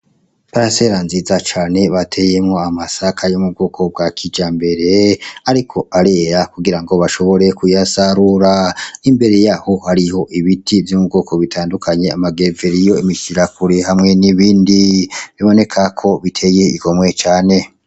Iparasera nziza cane bateyemwo amasaka yo m'ubwoko bwa kijambere ,ariko arera kugira ngo bashobore kuyasarura , imbere yaho hariho ibiti vyo mu bwoko butandukanye amagereveriyo, imishirakure hamwe n'ibindi biboneka ko biteye igomwe cane.